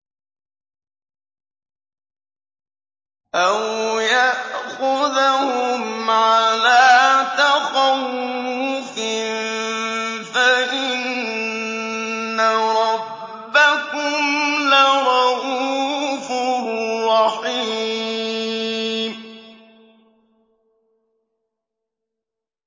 أَوْ يَأْخُذَهُمْ عَلَىٰ تَخَوُّفٍ فَإِنَّ رَبَّكُمْ لَرَءُوفٌ رَّحِيمٌ